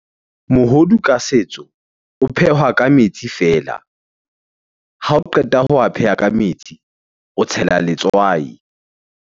Mohodu ka setso o phehwa ka metsi fela. Ha o qeta ho a pheha ka metsi, o tshela letswai.